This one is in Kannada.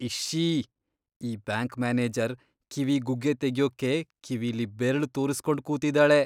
ಇಶ್ಶೀ.. ಈ ಬ್ಯಾಂಕ್ ಮ್ಯಾನೇಜರ್ ಕಿವಿ ಗುಗ್ಗೆ ತೆಗ್ಯೋಕೆ ಕಿವಿಲಿ ಬೆರ್ಳ್ ತೂರುಸ್ಕೊಂಡ್ ಕೂತಿದಾಳೆ.